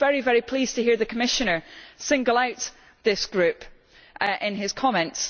I was very pleased to hear the Commissioner single out this group in his comments.